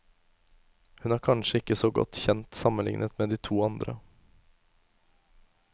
Hun er kanskje ikke så godt kjent sammenlignet med de to andre.